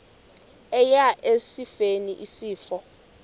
eya esifeni isifo